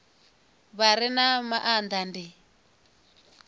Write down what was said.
vha re na maanda ndi